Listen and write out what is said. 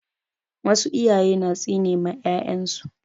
Wasu iyaye na tsine ma 'ya'yan su.